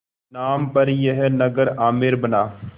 नाम पर यह नगर आमेर बना